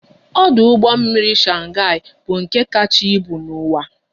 Ọdụ ụgbọ mmiri Shanghai bụ nke kacha ịbụ n'uwa